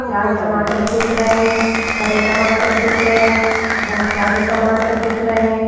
लाल टमाटर दिख रहे हैं हरे टमाटर दिख रहे हैं बहुत सारे टमाटर दिख रहे हैं।